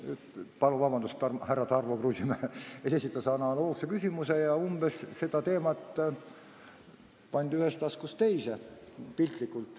Palun vabandust, härra Tarmo Kruusimäe esitas analoogse küsimuse ja piltlikult öeldes pandi seda teemat ühest taskust teise.